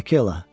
Ey, Akela.